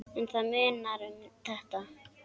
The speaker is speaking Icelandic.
En það munar um þetta.